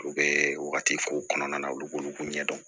U bɛ wagati ko kɔnɔna na olu k'olu ɲɛdɔn